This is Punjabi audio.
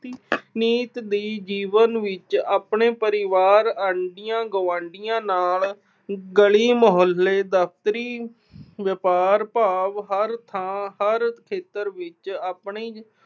ਨਿੱਤ ਦੇ ਜੀਵਨ ਵਿੱਚ ਆਪਣੇ ਪਰਿਵਾਰ ਆਂਢੀਆਂ-ਗੁਆਂਢੀਆਂ ਨਾਲ ਗਲੀ-ਮੁਹੱਲੇ ਦਫ਼ਤਰੀ, ਵਪਾਰ-ਭਾਗ ਹਰ ਥਾਂ, ਹਰ ਖੇਤਰ ਵਿੱਚ ਆਪਣੀ